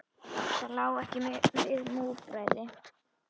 Það lá ekki við múgræði